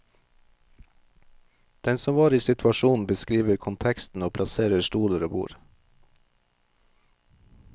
Den som var i situasjonen, beskriver konteksten og plasserer stoler og bord.